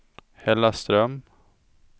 Hällaström